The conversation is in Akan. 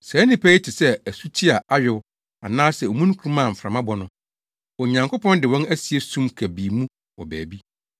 Saa nnipa yi te sɛ asuti a ayow anaasɛ omununkum a mframa bɔ no. Onyankopɔn de wɔn asie sum kabii mu wɔ baabi.